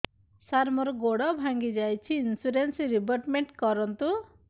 ସାର ମୋର ଗୋଡ ଭାଙ୍ଗି ଯାଇଛି ଇନ୍ସୁରେନ୍ସ ରିବେଟମେଣ୍ଟ କରୁନ୍ତୁ